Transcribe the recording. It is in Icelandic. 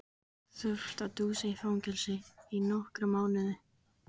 Þurft að dúsa í fangelsi í nokkra mánuði.